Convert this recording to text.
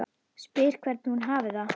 Spyr hvernig hún hafi það.